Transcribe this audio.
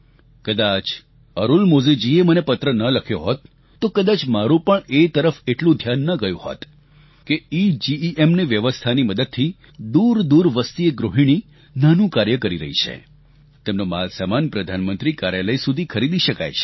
કદાચ અરુણમોમીજીએ મને પત્ર ન લખ્યો હોત તો કદાચ મારું પણ એ તરફ એટલું ધ્યાન ન ગયું હોત કે ઇજીઇએમની વ્યવસ્થાની મદદથી દૂરદૂર વસતી એક ગૃહિણી નાનું કાર્ય કરી રહી છે તેમનો માલસામાન પ્રધાનમંત્રી કાર્યાલય સુધી ખરીદી શકાય છે